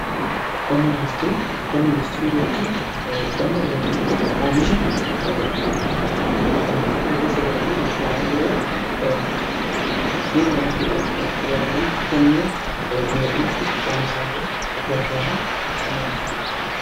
Qonna industirii jechuun qonna yookiin immoo oomisha industirii keessa galanii oomishaalee biroo ittiin oomishuudhaaf tajaajilan akka mi'a dheedhiitti oomishaalee gargaaran qonna industiriiti.